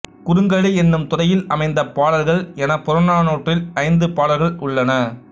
குறுங்கலி என்னும் துறையில் அமைந்த பாடல்கள் எனப் புறநானூற்றில் ஐந்து பாடல்கள் உள்ளன